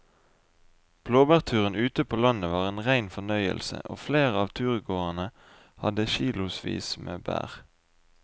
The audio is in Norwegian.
Blåbærturen ute på landet var en rein fornøyelse og flere av turgåerene hadde kilosvis med bær.